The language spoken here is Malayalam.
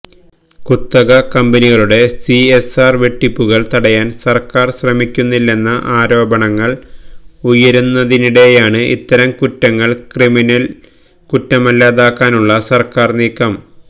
കുത്തക കമ്പനികളുടെ സിഎസ്ആര് വെട്ടിപ്പുകള് തടയാന് സര്ക്കാര് ശ്രമിക്കുന്നില്ലെന്ന ആരോപണങ്ങള് ഉയരുന്നതിനിടെയാണ് ഇത്തരം കുറ്റങ്ങള് ക്രിമിനല് കുറ്റമല്ലാതാക്കാനുള്ള സര്ക്കാര് നീക്കം